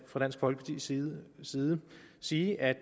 fra dansk folkepartis side side sige at